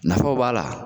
Nafaw b'a la